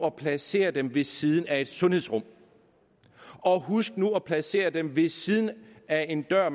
at placere dem ved siden af et sundhedsrum og huske at placere dem ved siden af en dør